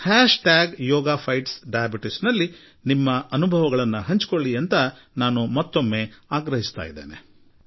hash tag yoga fights diabetes ನಲ್ಲಿ ನಿಮ್ಮ ಅನುಭವವನ್ನು ಹಂಚಿಕೊಳ್ಳಿ ಎಂದು ನಾನು ನಿಮ್ಮನ್ನು ಆಹ್ವಾನಿಸುತ್ತೇನೆ